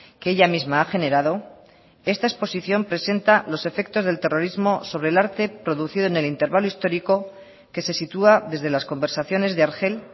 que ella misma ha generado esta exposición presenta los efectos del terrorismo sobre el arte producido en el intervalo histórico que se sitúa desde las conversaciones de argel